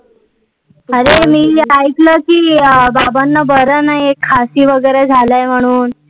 अरे मी ऐकलं कि बाबांना बरं नाही आहे, खासी वगैरे झालं आहे म्हणून